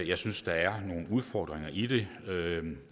jeg synes der er nogle udfordringer i det